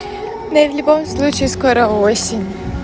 ну и в любом случае скоро осень